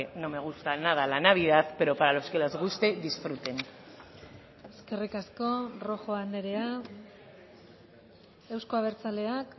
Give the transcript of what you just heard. no me gusta nada la navidad pero para los que les guste disfruten eskerrik asko rojo andrea euzko abertzaleak